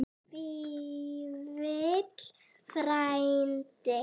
Vífill frændi.